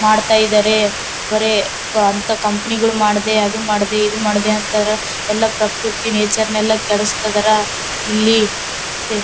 ಮಾಡತ್ತಾ ಇದಾರೆ ಬರೆ ಅಂತ ಕಂಪನಿಗಳು ಮಾಡದೆ ಅದ್ ಮಾಡದೆ ಈದ್ ಮಾಡದೆ ಅಂತರ್ ಎಲ್ಲಾ ಪ್ರಕೃತಿ ನೇಚರ್ ನೆಲ್ಲಾ ಕೆಡ್ಸತ್ತಿದರ್ ಇಲ್ಲಿ ಮತ್ತೆ --